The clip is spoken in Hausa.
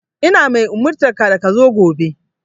Ina mai umurtanka da ka zo gobe!